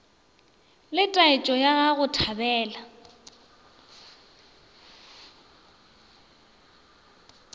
le taetšo ya go thabela